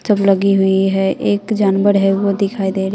सब लगी हुई हैं एक जानवर हैं वो दिखाई दे रहा--